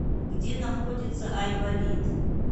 где находится айболит